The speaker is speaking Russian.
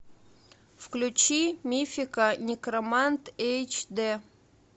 включи мифика некромант эйч д